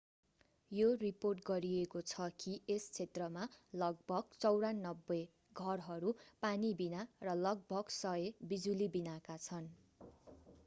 यो रिपोर्ट गरिएको छ कि यस क्षेत्रमा लगभग 9400 घरहरू पानीबिना र लगभग 100 बिजुलीबिनाका छन्